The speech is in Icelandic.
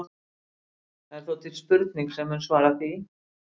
það er þó til spurning sem mun svara því